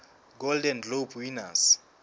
golden globe winners